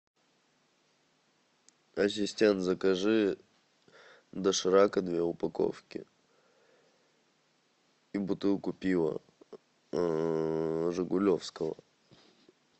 ассистент закажи доширака две упаковки и бутылку пива жигулевского